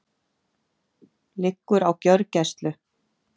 Liggur á gjörgæslu